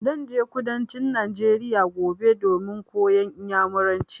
Zan je kudancin Najeriya gobe domin koyan Inyamuranci.